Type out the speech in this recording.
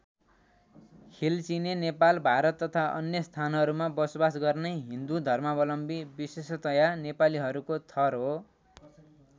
खिलचिने नेपाल भारत तथा अन्य स्थानहरूमा बसोबास गर्ने हिन्दू धर्मावलम्बी विशेषतया नेपालीहरूको थर हो।